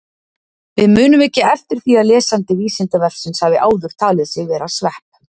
Við munum ekki eftir því að lesandi Vísindavefsins hafi áður talið sig vera svepp!